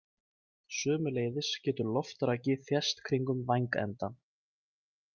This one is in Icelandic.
Sömuleiðis getur loftraki þést kringum vængenda.